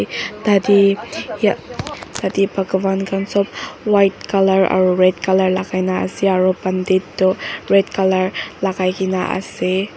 ta teh yah tateh bagwan khan sab white colour aru red colour lagai na ase aru pandit tu red colour lagai kine ase.